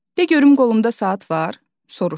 "De görüm qolumda saat var?" soruşdu.